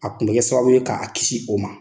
A kun bɛ kɛ sababu ye k'a kisi o ma